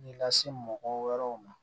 Nin lase mɔgɔ wɛrɛw ma